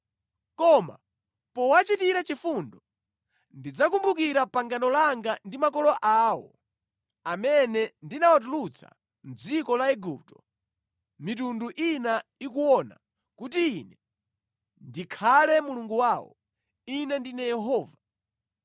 Koma powachitira chifundo, ndidzakumbukira pangano langa ndi makolo awo amene ndinawatulutsa mʼdziko la Igupto mitundu ina ikuona kuti Ine ndikhale Mulungu wawo. Ine ndine Yehova.’ ”